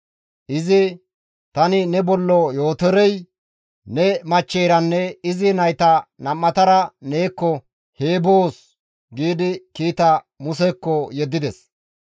Izi, «Tani ne bollo Yootorey, ne machcheyranne izi nayta nam7atara neekko he boos» giidi kiita Musekko yeddides.